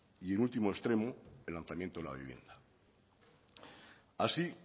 y en último extremo el lanzamiento de la vivienda así